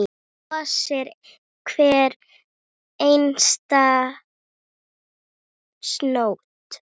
Þar brosir hver einasta snót.